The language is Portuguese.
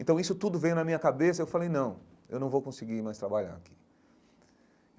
Então, isso tudo veio na minha cabeça e eu falei, não, eu não vou conseguir mais trabalhar aqui.